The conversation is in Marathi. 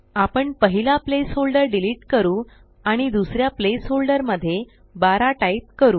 आपण पहिला प्लेस होल्डर डिलीट करू आणि दुसऱ्या प्लेस होल्डर मध्ये 12 टाइप करू